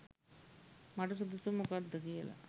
මට සුදුසු මොකක්ද කියලා.